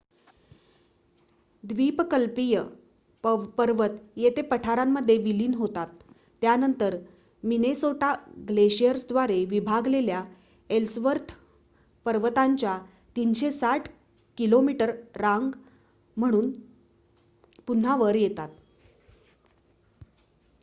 द्वीपकल्पीय पर्वत येथे पठारामध्ये विलीन होतात त्यानंतर मिनेसोटा ग्लेशिअरद्वारे विभागलेल्या एल्सवर्थ पर्वतांच्या ३६० किमी रांग म्हणून पुन्हा वर येतात